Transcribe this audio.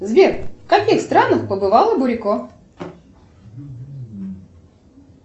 сбер в каких странах побывала бурико